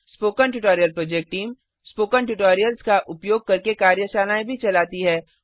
spoken tutorial project team spoken tutorials का उपयोग करके कार्यशालाएँ भी चलाती है